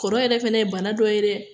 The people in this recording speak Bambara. Kɔrɔ yɛrɛ fana ye bana dɔ ye dɛ